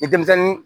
Ni denmisɛnnin